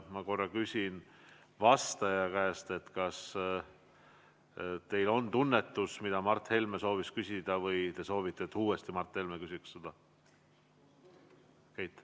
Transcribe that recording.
Ma küsin vastaja käest, kas teil tekkis tunnetus, mida Mart Helme soovis küsida, või te soovite, et Mart Helme küsiks sedasama uuesti.